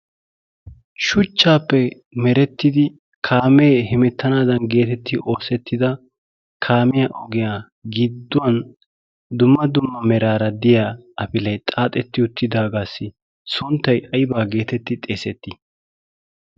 shuchchaappe merettidi kaamee hemettanaadan geetetti oossettida kaameya ogiyaa gidduwan dumma dumma meraara diya afilee xaaxetti uttidaagaassi sonttai aibaa geetetti xeesettii?